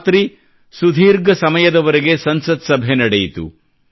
ರಾತ್ರಿ ಸುದೀರ್ಘ ಸಮಯದವರೆಗೆ ಸಂಸತ್ ಸಭೆ ನಡೆಯಿತು